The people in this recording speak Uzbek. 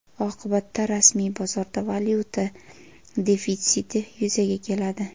Oqibatda rasmiy bozorda valyuta defitsiti yuzaga keladi.